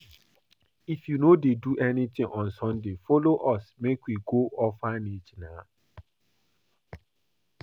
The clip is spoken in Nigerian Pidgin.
If you no dey do anything on Sunday follow us make we go orphanage nah